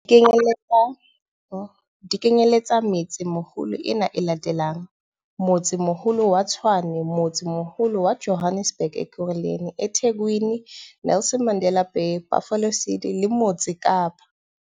Di kenyeletsa metse-meholo ena e latelang- Motsemoholo wa Tshwane Motsemoholo wa Johannesburg Ekurhuleni eThekwini Nelson Mandela Bay Buffalo City le Motse Kapa